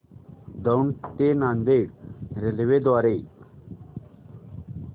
दौंड ते नांदेड रेल्वे द्वारे